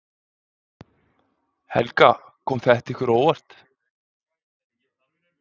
Helga: Kom þetta ykkur á óvart?